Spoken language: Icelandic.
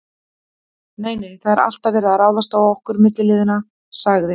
Nei, nei, það er alltaf verið að ráðast á okkur milliliðina sagði